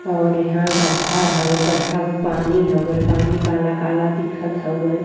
और यहां गढ़ा हुउवे। गढ़ा मे पानी हउवे। पानी काला काला दिखत हउवे।